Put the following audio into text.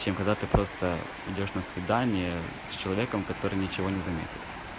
чем когда ты просто идёшь на свидание с человеком который ничего не заметит